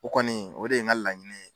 O kɔni, o de ye n ka laɲini ye.